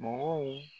Mɔgɔw